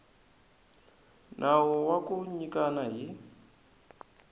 nawu wa ku nyikana hi